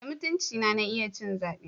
Da mutuncina na iya ci zabe.